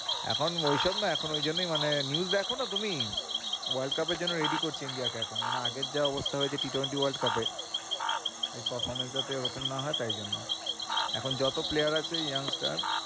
এখন ঐসব না এখন ওই জন্যেই মানে news দেখো না তুমি? world cup এর জন্য ready করছে India কে এখন, মানে আগের যা অবস্থা হয়েছে Ttwenty world cup এ তাই performance যাতে ওরকম না হয় তাই জন্য এখন যত player আছে young star